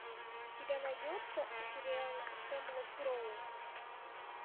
у тебя найдется сериал хемлок гроув